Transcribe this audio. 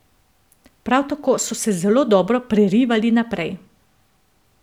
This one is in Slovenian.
Prav tako so se zelo dobro prerivali naprej.